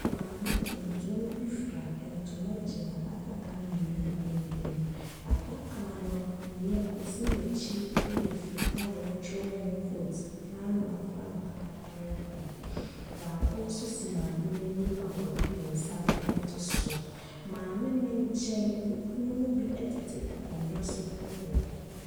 Maame tutum bi fura ntoma gyina adaka mmienu ntam. Adaka no nea esi n'akyi yɛ fitaaa a yɛakyerɛw ho vote. Ghana frankaa tare ho. Baako nso si maa no anim a ɔde ne nsa ato so. Maame no nkyɛn nnipa bi tete akonnwa so wɔ hɔ.